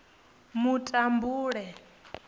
mutambule